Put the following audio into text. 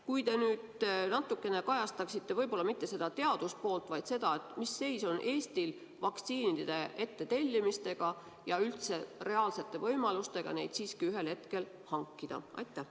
Kui te nüüd natukene kajastaksite võib-olla mitte seda teaduse poolt, vaid seda, mis seis on Eestil vaktsiinide ettetellimisega ja üldse reaalsete võimalustega neid siiski ühel hetkel hankida.